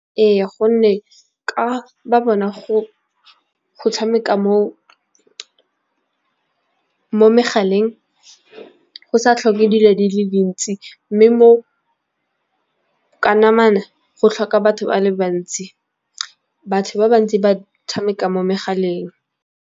Ee, gonne ka ba bona go tshameka mo megaleng go sa tlhoke dilo di le dintsi, mme mo ka namana go tlhoka batho ba le bantsi. Batho ba bantsi ba tshameka mo megaleng.